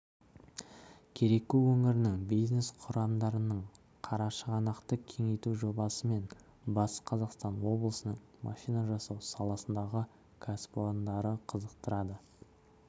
кереку өңірінің бизнес құрылымдарын қарашығанақты кеңейту жобасы мен батыс қазақстан облысының машина жасау саласындағы кәсіпорындары қызықтырады